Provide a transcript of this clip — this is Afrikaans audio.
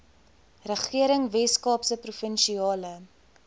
regering weskaapse provinsiale